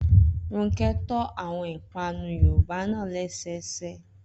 Rónkẹ́ to àwọn ìpanu Yorùbá náà lẹ́sẹẹsẹ